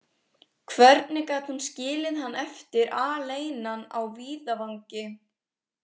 Hvernig gat hún skilið hann eftir aleinan á víðavangi?